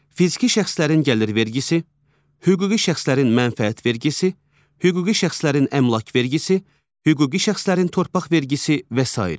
Fiziki şəxslərin gəlir vergisi, hüquqi şəxslərin mənfəət vergisi, hüquqi şəxslərin əmlak vergisi, hüquqi şəxslərin torpaq vergisi və sair.